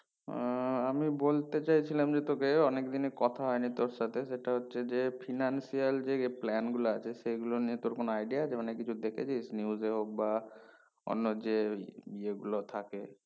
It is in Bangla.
আহ আমি বলতে চেয়েছিলাম যে তোকে অনেক দিনই কথা হয়নি তোর সাথে যেটা হচ্ছে যে financial যে plan গুলো আছে সে গুলো নিয়ে তোর কোনো idea আছে মানে কিছু দেখেছিস news এ হোক বা অন্য যেই ইয়ে গুলো থাকে